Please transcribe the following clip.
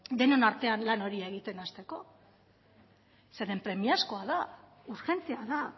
denon artean lan hori egiten hasteko zeren premiazkoa da urgentea da